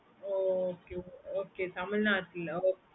okay okaytamilnadu ல